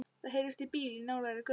Það heyrist í bíl í nálægri götu.